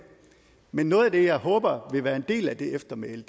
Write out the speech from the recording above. men noget af det jeg håber vil være en del af det eftermæle